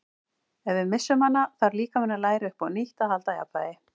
Ef við missum hana þarf líkaminn að læra upp á nýtt að halda jafnvægi.